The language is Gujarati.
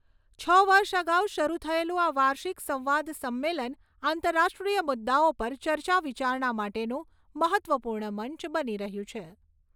છ વર્ષ અગાઉ શરૂ થયેલું આ વાર્ષિક સંવાદ સંમેલન આંતરરાષ્ટ્રીય મુદ્દાઓ પર ચર્ચા વિચારણા માટેનું મહત્ત્વપૂર્ણ મંચ બની રહ્યું છે